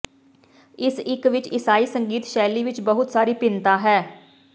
ਇਸ ਇਕ ਵਿਚ ਈਸਾਈ ਸੰਗੀਤ ਸ਼ੈਲੀ ਵਿਚ ਬਹੁਤ ਸਾਰੀ ਭਿੰਨਤਾ ਹੈ